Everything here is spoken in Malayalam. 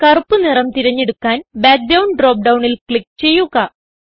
കറുപ്പ് നിറം തിരഞ്ഞെടുക്കാൻ ബാക്ക്ഗ്രൌണ്ട് ഡ്രോപ്പ് ഡൌണിൽ ക്ലിക്ക് ചെയ്യുക